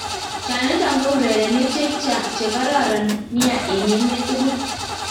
Chanitong ko urerenetaik cheng karon nia eng emet tugul?